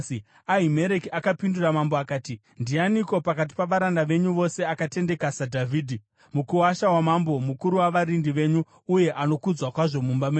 Ahimereki akapindura mambo akati, “Ndianiko pakati pavaranda venyu vose akatendeka saDhavhidhi, mukuwasha wamambo, mukuru wavarindi venyu uye anokudzwa kwazvo mumba menyu?